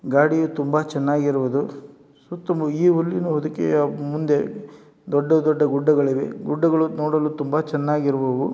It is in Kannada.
ಗಾಡಿಯು ತುಂಬಾ ಚೆನ್ನಾಗಿರುವುದು. ಸುತ್ತಲು ಈ ಹುಲ್ಲಿನ ಹೊದಿಕೆಯ ಮುಂದೆ ದೊಡ್ಡ ದೊಡ್ಡ ಗುಡ್ಡಗಳಿವೆ. ಗುಡ್ಡಗಳು ನೋಡಲು ತುಂಬಾ ಚೆನ್ನಾಗಿರುವವು.